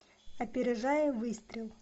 опережая выстрел